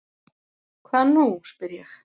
Hvað nú? spyr ég.